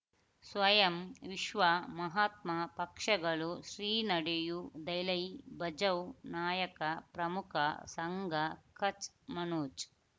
ಸ್ವಯಂ ವಿಶ್ವ ಮಹಾತ್ಮ ಪಕ್ಷಗಳು ಶ್ರೀ ನಡೆಯೂ ದಲೈ ಬಜವ್ ನಾಯಕ ಪ್ರಮುಖ ಸಂಘ ಕಚ್ ಮನೋಜ್